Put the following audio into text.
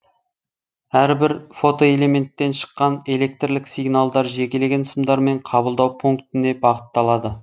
әрбір фотоэлементтен шыққан электрлік сигналдар жекелеген сымдармен қабылдау пунктіне бағытталады